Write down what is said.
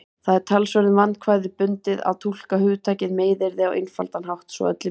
Það er talsverðum vandkvæðum bundið að túlka hugtakið meiðyrði á einfaldan hátt svo öllum líki.